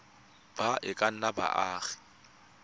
ba e ka nnang baagi